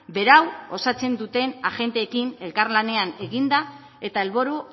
berau osatzen duten agenteekin elkarlanean eginda eta helburu